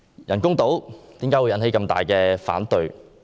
人工島為何引起這麼大的反對？